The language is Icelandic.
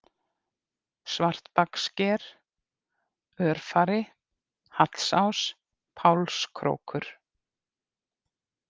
Svartbakssker, Örfari, Hallsás, Pálskrókur